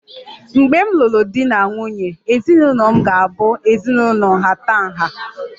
Mgbe m lụrụ di na nwunye, ezinụlọ m ga-abụ ezinụlọ nhatanha